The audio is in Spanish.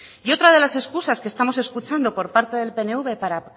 y otra de las excusas que estamos escuchando por parte del pnv para